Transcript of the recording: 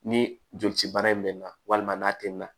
Ni joli cibaara in bɛ nan walima n'a tɛmɛn na